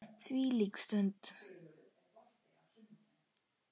Þvílík stund!